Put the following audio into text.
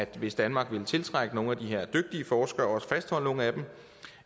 hvis danmark vil tiltrække nogle af de her dygtige forskere og også fastholde nogle af dem